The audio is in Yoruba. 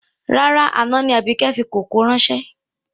Rárá, àná ni Àbíkẹ́ fi kòkó ráńṣẹ́